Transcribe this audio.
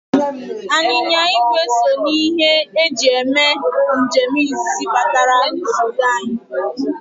Anyịnya igwe so n' ihe e ji eme njem izizi batara obodo anyị.